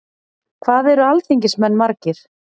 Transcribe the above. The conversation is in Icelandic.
Hvað eru alþingismenn margir?